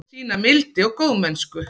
Sýna mildi og góðmennsku.